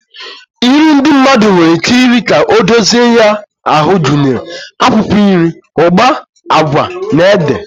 Nri ndị mmadụ nwere ike iri ka ọ dozie ya ahụ gụnyere akwụkwọ nri, ụgba, agwa, ede,